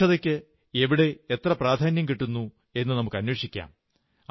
ശുചിത്വത്തിന് എവിടെ എത്ര പ്രാധാന്യം കിട്ടുന്നവെന്നു നമുക്കന്വേഷിക്കാം